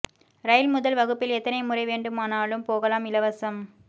ரயில் முதல் வகுப்பில் எத்தனை முறை வேண்டுமானாலும் போகலாம் இலவசம்